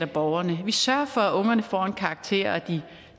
borgerne at vi sørger for at ungerne får en karakter og at de